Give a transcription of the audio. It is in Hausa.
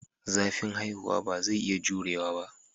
Zafin haihuwa ba zai iya jurewa ba.